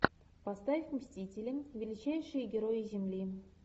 поставь мстители величайшие герои земли